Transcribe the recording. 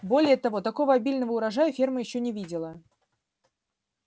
более того такого обильного урожая ферма ещё не видела